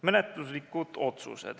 Menetluslikud otsused.